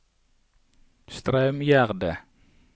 Straumgjerde